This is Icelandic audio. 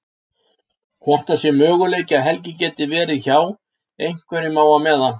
Hvort það sé möguleiki að Helgi geti verið hjá. einhverjum á meðan.